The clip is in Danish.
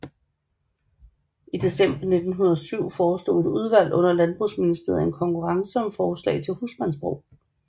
I december 1907 forestod et udvalg under Landbrugsministeriet en konkurrence om forslag til husmandsbrug